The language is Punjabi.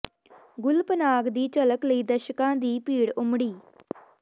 ਗੁੱਲ ਪਨਾਗ ਦੀ ਝਲਕ ਲਈ ਦਰਸ਼ਕਾਂ ਦੀ ਭੀੜ ਉਮੜੀ